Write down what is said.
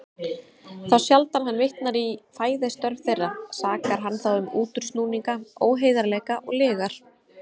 Þá sjaldan hann vitnar í fræðistörf þeirra, sakar hann þá um útúrsnúninga, óheiðarleika og lygar.